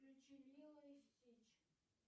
включи лило и стич